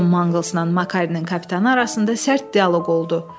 Con Manglzla Makarinin kapitanı arasında sərt dialoq oldu.